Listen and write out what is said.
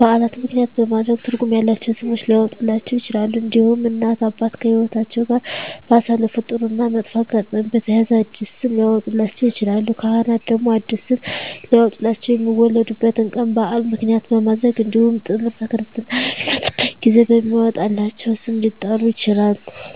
በዓላትን ምክንያትም በማድረግ ትርጉም ያላቸው ስሞች ሊያወጡላቸው ይችላሉ። እንዲሁም እናት እና አባት ከህይወትአቸው ጋር ባሳለፉት ጥሩ እና መጥፎ አጋጣሚ በተያያዘ አዲስ ስም ሊያወጡላቸው ይችላሉ። ካህናት ደግሞ አዲስ ስም ሊያወጡላቸው የሚወለዱበት ቀን በዓል ምክንያት በማድረግ እንዲሁም ጥምረተ ክርስትና በሚነሱበት ጊዜ በሚወጣላቸው ስም ሊጠሩ ይችላሉ።